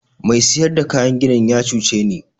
Mai siyar da kayan ginin ya cuce ni.